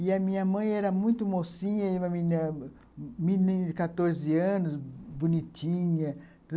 E a minha mãe era muito mocinha, uma menina, menina de quatorze anos, bonitinha.